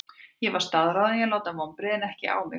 Ég var staðráðinn í að láta vonbrigðin ekki á mig fá.